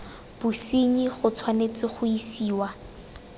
bosenyi go tshwanetse ga isiwa